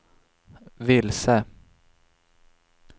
vilse